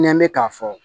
Nɛnɛ bɛ k'a fɔ